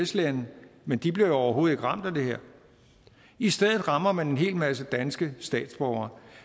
lande men de bliver jo overhovedet ikke ramt af det her i stedet rammer man en hel masse danske statsborgere